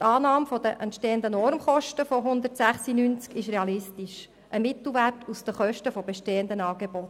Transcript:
Die Annahme der entstehenden Normkosten von 106.90 Franken ist realistisch, ein Mittelwert aus den Kosten bestehender Angebote.